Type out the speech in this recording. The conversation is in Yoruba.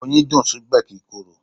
Oyin dùn, síbẹ̀ kì ń bàjẹ́.